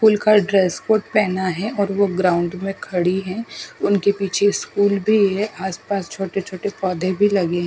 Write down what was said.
school का dress code पहना है और वो ग्राउंड में खड़ी है उनके पीछे स्कूल भी है आसपास छोटे छोटे पौधे भी लगे--